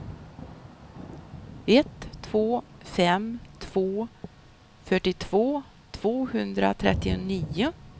ett två fem två fyrtiotvå tvåhundratrettionio